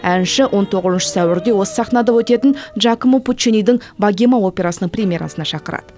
әнші он тоғызыншы сәуірде осы сахнада өтетін джакома пуччинидің богема операсының премьерасына шақырады